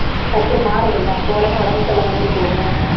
டக்குனு மாறுதுல்ல அப்ப உடனே உடம்பு சரியில்லாமதானே போகும்?